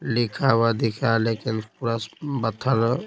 लिखा हुआ दिखा है लेकिन पूरा बथल--